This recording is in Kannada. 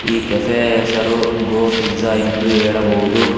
ಈ ಕೆಪೆ ಯ ಹೆಸರು ಗೋಪಿಜ್ಜಾ ಎಂದು ಹೇಳಬಹುದು.